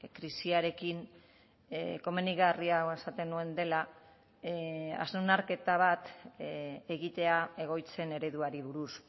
krisiarekin komenigarria esaten nuen dela hausnarketa bat egitea egoitzen ereduari buruz